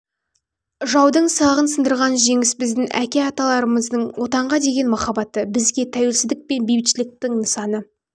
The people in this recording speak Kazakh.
жаудың сағын сындырған жеңіс біздің әке аталарымыздың отанға деген махаббаты бізге тәуелсіздік пен бейбітшіліктің нысаны